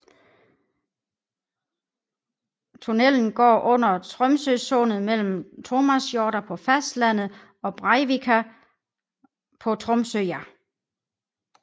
Tunnelen går under Tromsøysundet mellem Tomasjorda på fastlandet og Breivika på Tromsøya